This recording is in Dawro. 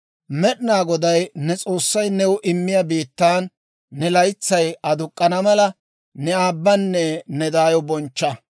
«Med'inaa Goday ne S'oossay new immiyaa biittaan ne laytsay aduk'k'ana mala, ne aabbanne ne daayo bonchcha.